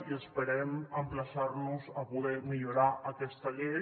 i esperem emplaçar nos a poder millorar aquesta llei